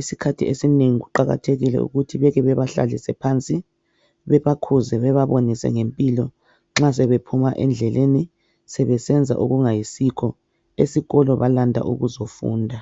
Isikhathi esinengi kuqakathekile ukuthi beke bebahlalise phansi bebakhuze, bebabonise ngempilo nxa sebephuma endleleni sebesenza okungayisikho. Esikolo balanda ukuzofunda.